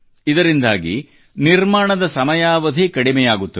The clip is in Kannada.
ಇದರಿಂದಾಗಿ ನಿರ್ಮಾಣದ ಸಮಯಾವಧಿ ಕಡಿಮೆಯಾಗುತ್ತದೆ